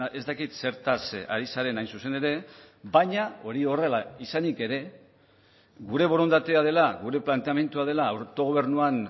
ez dakit zertaz ari zaren hain zuzen ere baina hori horrela izanik ere gure borondatea dela gure planteamendua dela autogobernuan